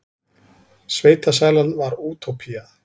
Sveitasælan var útópía.